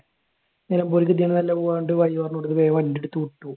നിലമ്പൂർക്ക് ഇതുവഴിയല്ല പോകുന്നെന്ന് പറഞ്ഞ് വഴി പറഞ്ഞ് കൊടുത്തിട്ട് വേഗം വണ്ടി എടുത്ത് വിട്ടു.